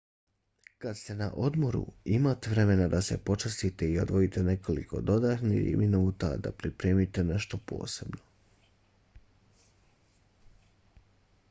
kad ste na odmoru imate vremena da se počastite i odvojite nekoliko dodatnih minuta da pripremite nešto posebno